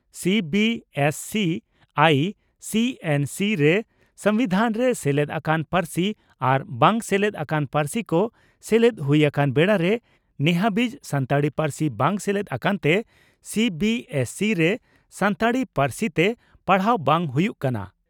CBSE ICSE ᱨᱮ ᱥᱚᱢᱵᱤᱫᱷᱟᱱᱨᱮ ᱥᱮᱞᱮᱫ ᱟᱠᱟᱱ ᱯᱟᱹᱨᱥᱤ ᱟᱨ ᱵᱟᱝ ᱥᱮᱞᱮᱫ ᱟᱠᱟᱱ ᱯᱟᱹᱨᱥᱤ ᱠᱚ ᱥᱮᱞᱮᱫ ᱦᱩᱭ ᱟᱠᱟᱱ ᱵᱮᱲᱟᱨᱮ ᱱᱮᱦᱟᱹᱵᱤᱡ ᱥᱟᱱᱛᱟᱲᱤ ᱯᱟᱹᱨᱥᱤ ᱵᱟᱝ ᱥᱮᱞᱮᱫ ᱟᱠᱟᱱᱛᱮ ᱥᱤᱹᱵᱤᱹᱮᱥᱹᱥᱤᱹ ᱨᱮ ᱥᱟᱱᱛᱟᱲᱤ ᱯᱟᱹᱨᱥᱤᱛᱮ ᱯᱟᱲᱦᱟᱣ ᱵᱟᱝ ᱦᱩᱭᱩᱜ ᱠᱟᱱᱟ ᱾